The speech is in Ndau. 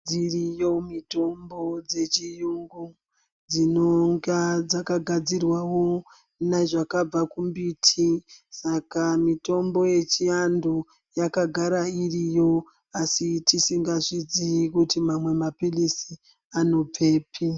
Dziriyo mitombo dzechiyungu dzinonga dzakagadzirwawo nezvakabva kumbiti saka mitombo yechivantu yakagara iriyo asi tisingazviziyi kuti mamwe maphiritsi anobvepi.